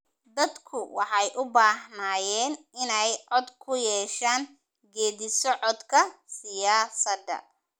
Dadku waxay u baahnaayeen inay cod ku yeeshaan geeddi-socodka siyaasadda.